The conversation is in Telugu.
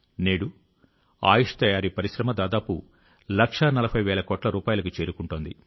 నేడు ఆయుష్ తయారీ పరిశ్రమ దాదాపు లక్షా నలభై వేల కోట్ల రూపాయలకు చేరుకుంటోంది